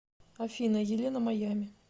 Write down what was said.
афина елена маями